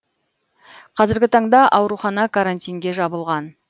қазіргі таңда аурухана карантинге жабылған